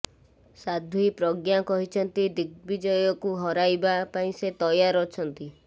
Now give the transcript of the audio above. ସାଧ୍ବୀ ପ୍ରଜ୍ଞା କହିଛନ୍ତି ଦିଗ୍ବିଜୟକୁ ହରାଇବା ପାଇଁ ସେ ତୟାର ଅଛନ୍ତି